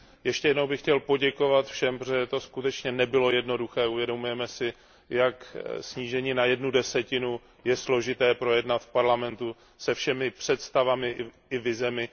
Ještě jednou bych chtěl poděkovat všem, protože to skutečně nebylo jednoduché, uvědomujeme si, jak je snížení na jednu desetinu složité projednat v Evropském parlamentu se všemi představami i vizemi.